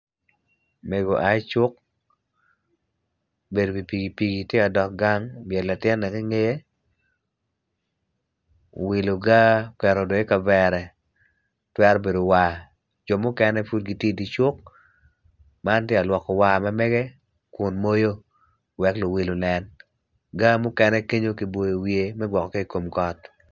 Mego oai cuk obedo i wi pikipiki obyelo latin i ngeye owiloga oketo dong i kavere twero bedo war jo mukene pud gitye i dye cuk man tye ka lwoko war mamege kunmoyo wek luwil onen.